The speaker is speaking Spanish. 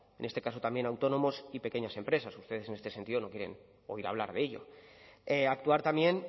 en este caso también a autónomos y pequeñas empresas ustedes en ese sentido no quieren oír hablar de ello actuar también